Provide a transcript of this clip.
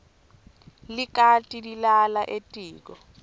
likati lilala etiko